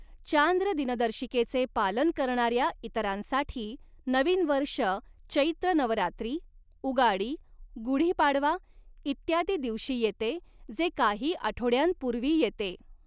चांद्र दिनदर्शिकेचे पालन करणाऱ्या इतरांसाठी, नवीन वर्ष चैत्र नवरात्री, उगाडी, गुढीपाडवा इत्यादीं दिवशी येते, जे काही आठवड्यांपूर्वी येते.